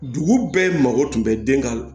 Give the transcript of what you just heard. Dugu bɛɛ mago tun bɛ den kan